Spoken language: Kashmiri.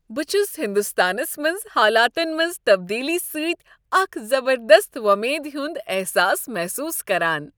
بہٕ چھس ہندوستانس منٛز حالاتن منٛز تبدیلی سۭتۍ اکھ زبردست وۄمید ہنٛد احساس محسوٗس کران۔